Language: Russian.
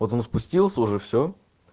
вот он спустился уже всё